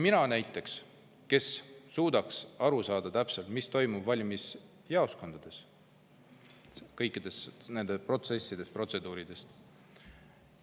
Mina näiteks suudaks täpselt aru saada, mis toimub valimisjaoskondades kõikide nende protseduuride läbiviimisel.